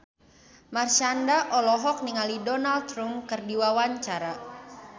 Marshanda olohok ningali Donald Trump keur diwawancara